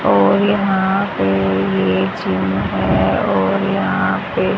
और यहां पे ये जिम है और यहां पे--